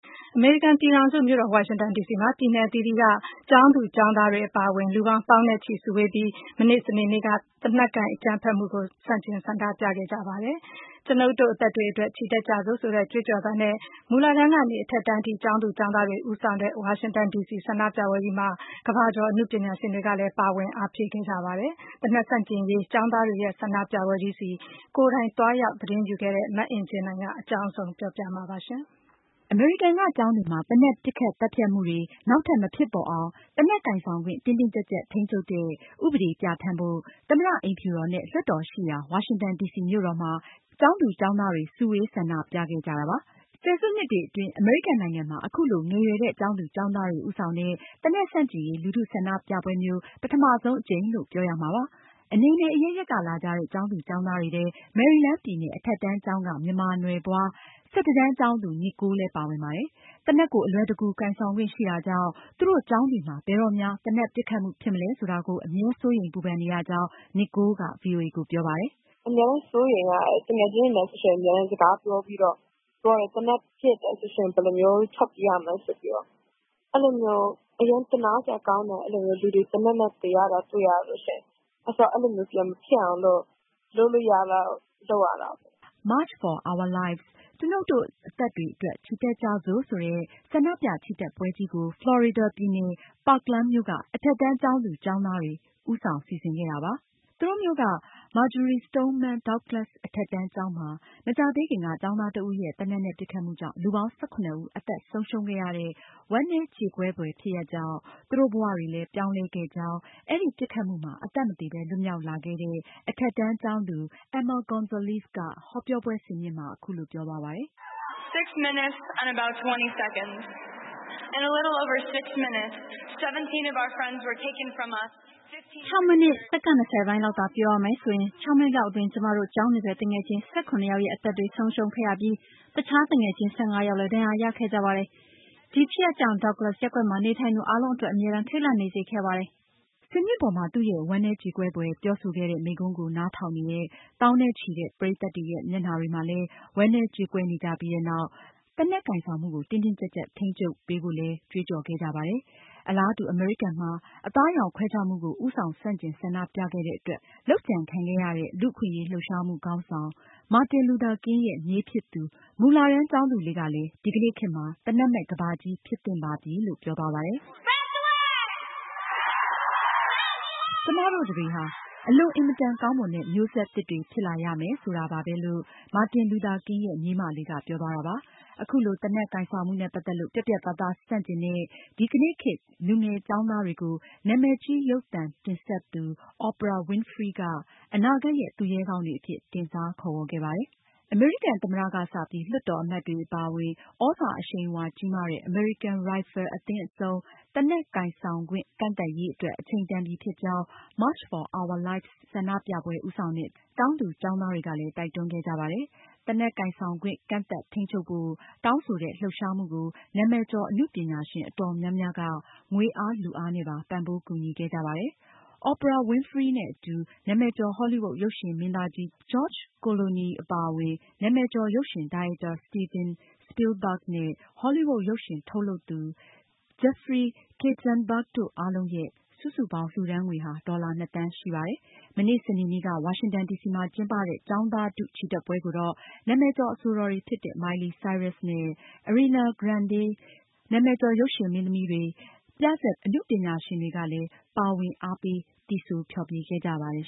အမေရိကန်ပြည်ထောင်စု ဝါရှင်တန်ဒီစီမှာ စနေနေ့က ပြည်နယ်အသီးသီးက ကျောင်းသူ၊ ကျောင်းသားတွေအပါအဝင် လူပေါင်း သောင်းနဲ့ချီ စုဝေးပြီး သေနတ်ကိုင်အကြမ်းဖက်မှုကို ဆန့်ကျင်ဆန္ဒပြခဲ့ကြပါတယ်။ “ကျွနု်ပ်တို့ အသက်တွေအတွက် ချီတက်ကြစို့” ဆိုတဲ့ ကြွေးကြော်သံနဲ့ မူလတန်းကစပြီး အထက်တန်း အရွယ် ကျောင်းသူကျောင်းသားတွေ ဦးဆောင်တဲ့ ဝါရှင်တန်ဒီစီ ဆန္ဒပြပွဲကြီးမှာ ကမ္ဘာကျော် အနုပညာရှင်တွေ ပါဝင်အားဖြည့်ခဲ့ကြပါတယ်။ သေနတ်ဆန့်ကျင်ရေး ကျောင်းသားတွေရဲ့ ဆန္ဒပြပွဲကြီးမှာ ကိုယ်တိုင်သွားရောက်သတင်းယူခဲ့တဲ့ မအင်ကြင်းနိုင်က အကြောင်းစုံကို ပြောပြမှာပါ။ အမေရိကန်က ကျောင်းတွေမှာ သေနတ်ပစ်ခတ် သတ်ဖြတ်မှုတွေ နောက်ထပ် မဖြစ်ပေါ်အောင် သေနတ်ကိုင်ဆောင်ခွင့် တင်းတင်းကျပ်ကျပ် ထိန်းချုပ်တဲ့ ဥပဒေပြဌာန်းဖို့ သမ္မတအိမ်ဖြူတော်နဲ့ လွှတ်တော်ရှိရာ ဝါရှင်တန်ဒီစီမြို့တော်မှာ ကျောင်းသူ၊ ကျောင်းသားတွေ စုဝေး ဆန္ဒပြခဲ့ကြတာပါ။ ဆယ်စုနှစ်တွေအတွင်း အမေရိကန်နိုင်ငံမှာ အခုလို ငယ်ရွယ်တဲ့ ကျောင်းသူကျောင်းသူတွေ ဦးဆောင်တဲ့ သေနတ်ဆန့်ကျင်ရေး လူထုဆန္ဒပြပွဲမျိုး ပထမဆုံးအကြိမ်လို့ ပြောရမှာပါ။ အနယ်နယ်အရပ်ရပ်ကလာကြတဲ့ ကျောင်းသူကျောင်းသားတွေထဲ မေရီလန်းပြည်နယ် အထက်တန်းကျောင်းက မြန်မာနွယ်ဖွား ၁၁ တန်းကျောင်းသူ နီကိုလ် လည်းပါဝင်ပါတယ်။ သေနတ်ကို အလွယ်တကူ ကိုင်ဆောင်ခွင့်ရှိတာကြောင့် သူတို့ကျောင်းတွေမှာ ဘယ်တော့များ သေနတ်ပစ်ခတ်မှုဖြစ်မလဲဆိုတာကို အမြဲစိုးရိမ်ပူပန်နေရကြောင်း နီကိုလ်က ဗွီအိုအေကိုပြောပါတယ်။ "အမြဲစိုးရိမ်ရတယ်။ သူငယ်ချင်းတွေနဲ့ အမြဲပြောဖြစ်တယ်။ သေနတ်ပစ်လို့ရှိရင် ဘယ်လိုမျိုး ထွက်ပြေးရမလဲဆိုပြီးတော့။ အရမ်းသနားစရာကောင်းတယ်။ လူတွေ သေနတ်ကြောင့် သေရတာ။ အဲဒီလို ပြန်မဖြစ်အောင် လုပ်ရမယ်။" “March for our lives” ( ကျွနု်ပ်တို့ အသက်တွေအတွက် ချီတက်ကြစို့) ဆိုတဲ့ ဆန္ဒပြချီတက်ပွဲကြီးကို ဖလော်ရီဒါ ပြည်နယ် Parkland မြို့က အထက်တန်းကျောင်းသူ၊ ကျောင်းသားတွေ ဦးဆောင်စီစဉ်ခဲ့တာပါ။ သူတို့မြို့က Marjory Stoneman Douglas အထက်တန်းကျောင်းမှာ မကြာသေးခင်က ကျောင်းသားတဦးရဲ့ သေနတ်ပစ်ခတ်မှုကြောင့် လူပေါင်း ၁၇ ဦး အသက်ဆုံးရှုံးခဲ့ရတဲ့ ဝမ်းနည်းကြေကွဲဖွယ် ဖြစ်ရပ်ကြောင့် သူတို့ဘဝတွေလည်း ပြောင်းလဲခဲ့ကြောင်း အဲဒီပစ်ခတ်မှုမှာ အသက်မသေပဲ လွတ်မြောက်လာခဲ့တဲ့ အထက်တန်းကျောင်းသူ Emma Gonzalez က ဟောပြောပွဲဆင်မြင့်မှာ အခုလိုပြောသွားပါတယ်။ "၆ မိနစ် ၂၀ စက္ကန့် ပိုင်းလောက် ပြောရမယ်ဆိုရင် ၆ မိနစ်လောက်အတွင်း ကျမတို့ ကျောင်းနေဖက် သူငယ်ချင်း ၁၇ ယောက်ရဲ့အသက်တွေ ဆုံးရှုံးခဲ့ရပြီး အခြား သူငယ်ချင်း ၁၅ ယောက်လည်း ဒဏ်ရာရခဲ့ကြပါတယ်။ ဒီဖြစ်ရပ်ကြောင့် Douglas ရပ်ကွက်မှာနေထိုင်သူအားလုံးအတွက် အမြဲတမ်း ထိတ်လန့် နေစေခဲ့ပါတယ်။" ဆင်မြင့်ပေါ်မှာ သူရဲ့ ဝမ်းနည်းကြေကွဲဖွယ် ပြောဆိုခဲ့တဲ့ မိန့်ခွန်းကို နားထောင်နေတဲ့ သောင်းနဲ့ချီတဲ့ ပရိသတ်တွေရဲ့ မျက်နှာတွေမှာ ဝမ်းနည်းကြေကွဲခဲ့ကြပြီးနောက် သေနတ်ကိုင်ဆောင်မှု တင်းတင်းကျပ်ကျပ် ထိန်းချုပ်ပေးဖို့လည်း ကြွေးကြော်ခဲ့ကြပါတယ်။ အလားတူ အမေရိကန်မှာ အသားအရောင်ခွဲခြားမှုကို ဦးဆောင် ဆန့်ကျင်ဆန္ဒပြခဲ့တဲ့အတွက် လုပ်ကြံခံခဲ့ရတဲ့ လူ့အခွင့်အရေးလှုပ်ရှားမှုခေါင်းဆောင် မာတင်လူသာကင် ရဲ့ မြေးဖြစ်သူ မူလတန်းအရွယ်ကျောင်းသူလေးကလည်း ဒီကနေ့ခေတ်မှာ သေနတ်မဲ့ ကမ္ဘာကြီးဖြစ်သင့်ပါပြီလို့ပြောသွားပါတယ်။ "တနိုင်ငံလုံးကြားစေချင်တာက ကျမတို့တတွေ အလွန်အင်မတန်ကောင်းတဲ့ မျိုးဆက်သစ်တွေဖြစ်လာရမယ်ဆိုတာပါပဲ လို့ မာတင်လူသာကင်ရဲ့ မြေးမလေးက ပြောသွားတာပါ။ အခုလို သေနတ်ကိုင်ဆောင်မှုနဲ့ ပတ်သက်လို့ ပြတ်ပြတ်သားသား ဆန်ကျင်တဲ့ ဒီကနေ့ခေတ် လူငယ်ကျောင်းသားတွေကို ဟောလီးဝုဒ်ရုပ်ရှင်မင်းသမီးကြီး Oprah Winfrey က အနာဂတ်ရဲ့ သူရဲကောင်းတွေအဖြစ် တင်စားခေါ်ဝေါ်ခဲ့ပါတယ်။" အမေရိကန်သမ္မတက စပြီး လွှတ်တော်အမတ်တွေအပါအဝင် သြဇာအရှိန်အဝါကြီးမားတဲ့ အမေရိကန်ရိုင်ဖယ်လ်အသင်း အဆုံး သေနတ်ကိုင်ဆိုင်ခွင့် ကန့်သတ်ရေးအတွက် အချိန်တန်ပြီးဖြစ်ကြောင်း March for our lives ဆန္ဒပြပွဲဦးဆောင်တဲ့ ကျောင်းသူကျောင်းသားတွေက တိုက်တွန်းခဲ့ကြပါတယ်။ သေနတ်ကိုင်ဆောင်ခွင့် ကန့်သတ်ထိန်းချုပ်ဖို့ တောင်းဆိုတဲ့ လှုပ်ရှားမှုကို နာမည်ကျော် အနုပညာရှင်အတော်များများ ငွေအား၊ လူအားနဲ့ပါ ပံ့ပိုးကူညီခဲ့ကြပါတယ်။ Oprah Winfreyနဲ့ အတူ နာမည်ကျော် ဟောလီးဝုဒ်ရုပ်ရှင်မင်းသားကြီး George Clooney အပါအဝင် နာမည်ကျော် ရုပ်ရှင်ဒါရိုက်တာ Steven Spielberg နဲ့ ဟောလီးဝုဒ် ရုပ်ရှင်ထုတ်လုပ်သူ Jeffrey Katzenberg တို့အားလုံးရဲ့ စုစုပေါင်း လှုဒါန်းငွေ ဒေါ်လာ ၂ သန်းရှိပါတယ်။ မနေ့ စနေနေ့က ဝါရှင်တန်ဒီစီမှာကျင်းပတဲ့ ကျောင်းသားထု ချီတက်ပွဲကိုတော့ နာမည်ကျော် အဆိုတော်တွေဖြစ်တဲ့ Miley Cyrus နဲ့ Ariana Grande၊ နာမည်ကျော်ရုပ်ရှင်မင်းသမီး Jennifer Hudson အပြင် နာမည်ကျော် ပြဇာတ်သီချင်း အဆို အနုပညာရှင် တွေကလည်း ပါဝင် အားပေး သီဆို ဖျော်ဖြေခဲ့ကြပါတယ်